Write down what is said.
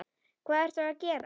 Hvað ertu að gera?